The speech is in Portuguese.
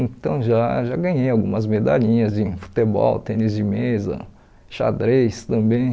Então já já ganhei algumas medalhinhas de futebol, tênis de mesa, xadrez também.